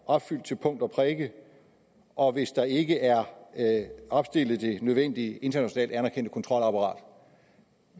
opfyldt til punkt og prikke og hvis der ikke er opstillet det nødvendige internationalt anerkendte kontrolapparat